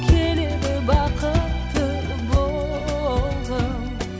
келеді бақытты болғым